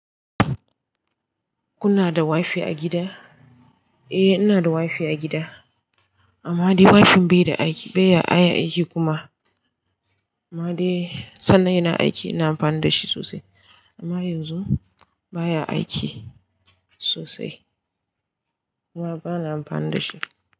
Kuna da wifi a gida? Eh ina da wifi a gida. Amma dai wifin bai da aiki, bai ya aiki kuma. Amma dai sannan yana aiki ina amfani da shi sosai. Amma yanzu baya aiki sosai. Kuma bana amfani da shi.